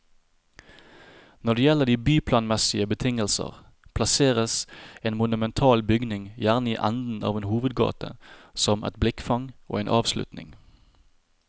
Når det gjelder de byplanmessige betingelser, plasseres en monumental bygning gjerne i enden av en hovedgate, som et blikkfang og en avslutning.